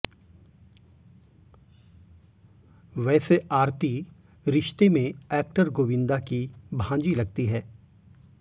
वैसे आरती रिश्ते में एक्टर गोविंदा की भांजी लगती है